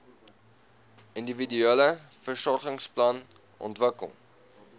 individuele versorgingsplan ontwikkel